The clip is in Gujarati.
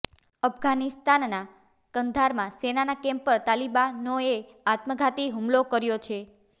અફઘાનિસ્તાનના કંધારમાં સેનાના કેમ્પ પર તાલિબાનોએ આત્મઘાતી હુમલો કર્યો છે